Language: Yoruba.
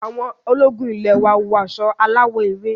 Àwọn ológun ile wọ aṣọ aláwò ewé.